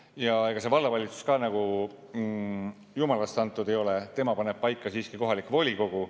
Ja ega see vallavalitsus ka nagu jumalast antud ei ole, tema paneb paika siiski kohalik volikogu.